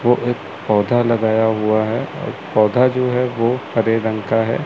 वो एक पौधा लगाया हुआ है और पौधा जो है वो हरे रंग का है।